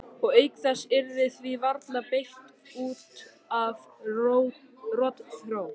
Og auk þess yrði því varla beitt út af rotþró.